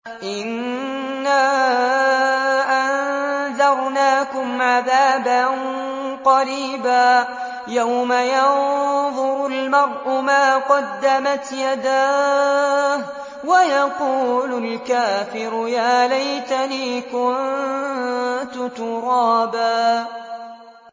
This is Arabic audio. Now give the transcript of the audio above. إِنَّا أَنذَرْنَاكُمْ عَذَابًا قَرِيبًا يَوْمَ يَنظُرُ الْمَرْءُ مَا قَدَّمَتْ يَدَاهُ وَيَقُولُ الْكَافِرُ يَا لَيْتَنِي كُنتُ تُرَابًا